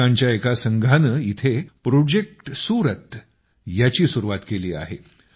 युवकांच्या एका संघानं इथं प्रोजेक्ट सुरत ची सुरूवात केली आहे